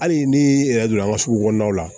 Hali ni yɛrɛ donna an ga sugu kɔnɔnaw la